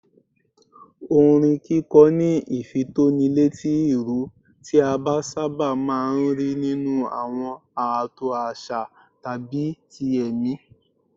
Orin kíkọ ní ìfitónilétí ìró, tí a sábà máa ń rí nínú àwọn ààtò àṣà tàbí ti ẹ̀mí